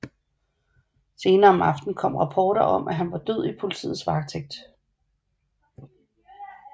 Senere om aftenen kom rapporter om at han var død i politiets varetægt